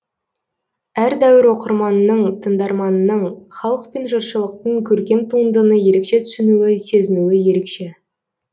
әр дәуір оқырманының тыңдарманының халық пен жұртшылықтың көркем туындыны ерекше түсінуі сезінуі ерекше